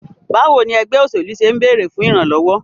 Báwo ni ẹgbẹ́ òṣèlú ṣe ń bèrè fún ìrànlọ́wọ́?